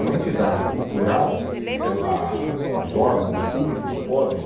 Uma entidade cultural, ela, os órgãos públicos podem